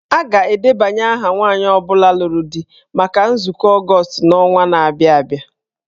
A ga-edebanye aha nwanyị ọ bụla lụrụ di maka nzukọ Ọgọọst n'ọnwa na-abịa abịa.